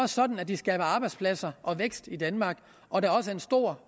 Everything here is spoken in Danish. sådan at de skaber arbejdspladser og vækst i danmark og der er også en stor